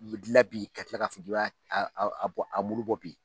u bɛ dilan bi ka tila ka fɔ a mulu bɔ bi